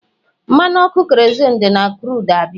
mmanụ ọkụ kerozinu si na crudu abịa